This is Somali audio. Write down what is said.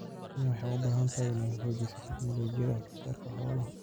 Kenya waxay u baahan tahay inay xoojiso tignoolajiyada wax soo saarka xoolaha.